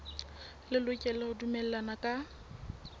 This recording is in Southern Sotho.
le lokela ho dumellana ka